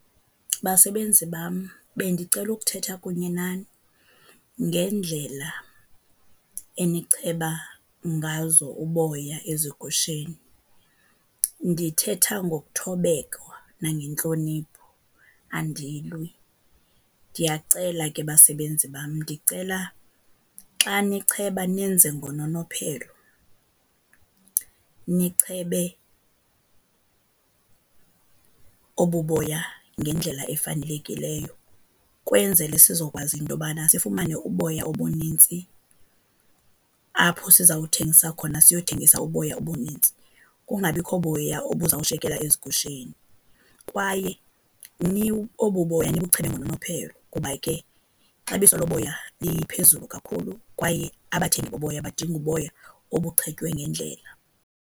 Basebenzi bam, bendicela ukuthetha kunye nani ngendlela enicheba ngazo uboya ezigusheni. Ndithetha ngokuthobeka nangentlonipho, andilwi. Ndiyacela ke basebenzi bam, ndicela xa nicheba nenze ngononophelo, nichebe obu boya ngendlela efanelekileyo ukwenzele sizokwazi into yobana sifumane uboya obunintsi. Apho sizawuthengisa khona siyothengisa uboya obunintsi, kungabikho boya obuzawushiyekela ezigusheni. Kwaye obu boya nibuchebe ngononophelo kuba ke ixabiso loboya liphezulu kakhulu kwaye abathengi boboya badinga uboya obuchetywe ngendlela.